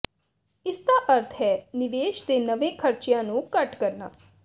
ਇਸਦਾ ਅਰਥ ਹੈ ਨਿਵੇਸ਼ ਦੇ ਨਵੇਂ ਖਰਚਿਆਂ ਨੂੰ ਘੱਟ ਕਰਨਾ